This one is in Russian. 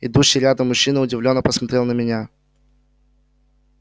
идущий рядом мужчина удивлённо посмотрел на меня